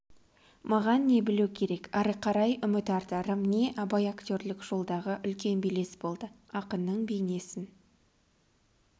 маған не білу керек ары қарай үміт артарым не абайактерлік жолдағы үлкен белес болды ақынның бейнесін